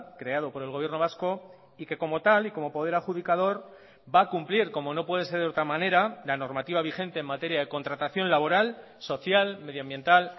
creado por el gobierno vasco y que como tal y como poder adjudicador va a cumplir como no puede ser de otra manera la normativa vigente en materia de contratación laboral social medioambiental